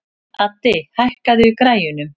Addi, hækkaðu í græjunum.